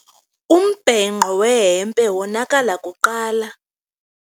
Umbhenqo wehempe wonakala kuqala.